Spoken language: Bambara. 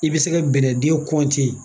I bɛ se ka bɛnɛdiyɛ